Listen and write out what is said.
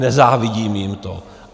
Nezávidím jim to.